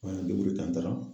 An y'an ten, an taara.